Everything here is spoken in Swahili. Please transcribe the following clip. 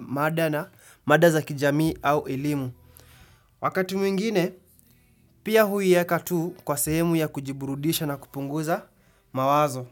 maada na mada za kijamii au elimu. Wakati mwingine, pia huiyeka tu kwa sehemu ya kujiburudisha na kupunguza mawazo.